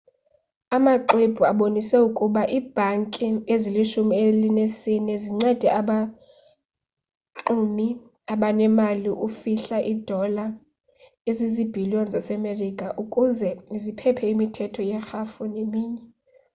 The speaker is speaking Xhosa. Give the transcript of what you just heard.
amaxwebhu abonise ukuba iibhanki ezilishumi elinesine zincede abaxumi abanemali ukufihla iidola ezizibhiliyon zasemerika ukuze ziphephe imithetho yerhafu neminye